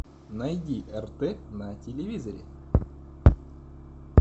найди рт на телевизоре